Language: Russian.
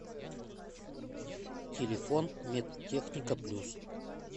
телефон медтехника плюс